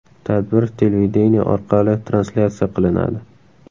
Tadbir televideniye orqali translyatsiya qilinadi.